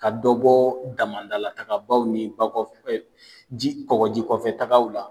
Ka dɔ bɔ damadalatagabaw ni kɔgɔji kɔfɛtagaw la